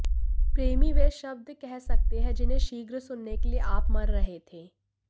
प्रेमी वे शब्द कह सकते हैं जिन्हें शीघ्र सुनने के लिए आप मर रहे थे